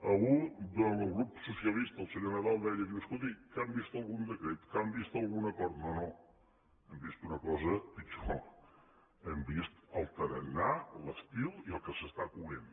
algú del grup socialista el senyor nadal deia diu escolti que han vist algun decret que han vist algun acord no no hem vist una cosa pitjor hem vist el tarannà l’estil i el que s’està coent